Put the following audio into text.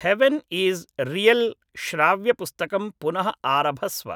heaven is real श्राव्यपुस्तकं पुनः आरभस्व